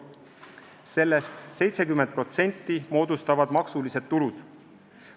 Sellest 70% moodustavad maksulised tulud.